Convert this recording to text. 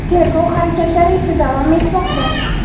Tergov harakatlari esa davom etmoqda.